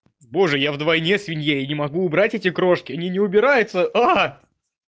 боже я вдвойне свинья и не могу убрать эти крошки они не убираются а